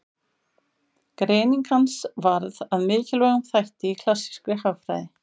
Greining hans varð að mikilvægum þætti í klassískri hagfræði.